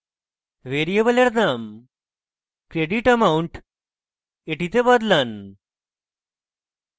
ভ্যারিয়েবলের name creditamount এ বদলান